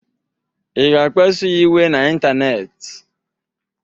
Ị ga-akpasuya iwe n'ịntanetị?